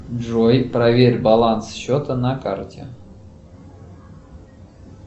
джой проверь баланс счета на карте